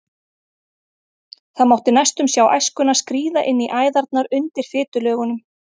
Það mátti næstum sjá æskuna skríða inn í æðarnar undir fitulögunum.